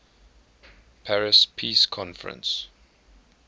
paris peace conference